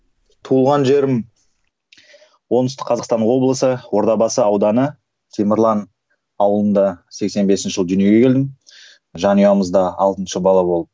туған жерім оңтүстік қазақстан облысы ордабасы ауданы темірлан ауылында сексен бесінші жылы дүниеге келдім жанұямызда алтыншы бала болып